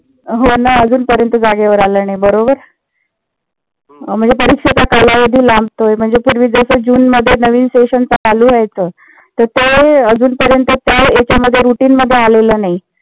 हो ना. अजून पर्यंत जागेवर आलले नाही. बरोबर म्हणजे परीक्षेचा कालावधी लांबतोय. म्हणजे पूर्वी जस जुनमध्ये नवीन session चालू व्ह्यायचं. तर ते अजूनपर्यंत त्या routine मध्ये आलेलं नाही.